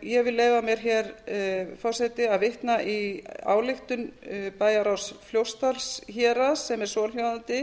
ég vil leyfa mér hér forseti að vitna í ályktun bæjarráðs fljótsdalshéraðs sem er svohljóðandi